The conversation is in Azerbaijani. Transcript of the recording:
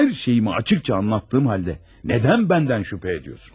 Hər şeyimi açıq-aydın izah etdiyim halda niyə məndən şübhə edirsiniz?